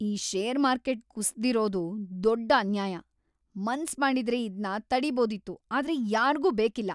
ಈ share market ಕುಸ್ದಿರೋದು ದೊಡ್ಡ್‌ ಅನ್ಯಾಯ! ಮನ್ಸ್‌ ಮಾಡಿದ್ರೆ ಇದ್ನ ತಡೀಬೋದಿತ್ತು, ಆದ್ರೆ ಯಾರ್ಗೂ ಬೇಕಿಲ್ಲ!